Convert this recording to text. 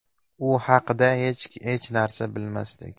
U haqda hech narsa bilmasdik.